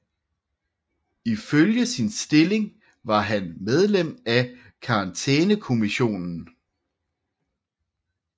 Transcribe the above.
Ifølge sin stilling var han medlem af Karantænekommissionen